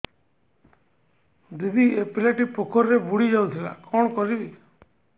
ଦିଦି ଏ ପିଲାଟି ପୋଖରୀରେ ବୁଡ଼ି ଯାଉଥିଲା କଣ କରିବି